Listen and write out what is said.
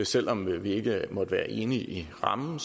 selv om vi ikke måtte være enige i rammen